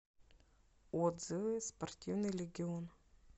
отзывы спортивный легион